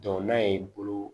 n'a ye bolo